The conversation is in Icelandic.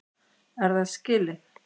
Er það skilið?